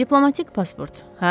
Diplomatik pasport, hə?